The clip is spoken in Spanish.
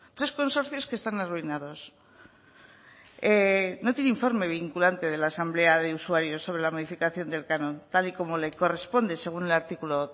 tres consorcios que están arruinados no tiene informe vinculante de la asamblea de usuarios sobre la modificación del canon tal y como le corresponde según el artículo